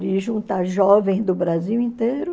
de juntar jovens do Brasil inteiro.